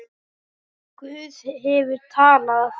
Guð hefur talað.